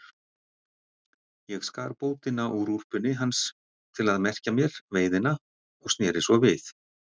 Ég skar bótina úr úlpunni hans til að merkja mér veiðina og sneri svo við.